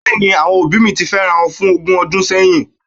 Bẹ́ẹ̀ni, àwọn òbí mi ti fẹ́rawọn fún ogún ọdún sẹ́yìn